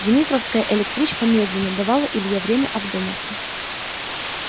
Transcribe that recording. дмитровская электричка медлила давала илье время одуматься